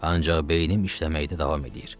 Ancaq beynim işləməkdə davam eləyir.